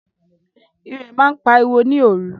Írẹ̀ màa n pàriwo ni oru